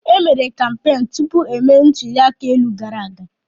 E mere kampeenụ́ tupu emee ntuli aka elu gara aga.